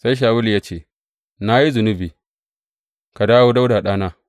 Sai Shawulu ya ce, Na yi zunubi ka dawo Dawuda ɗana.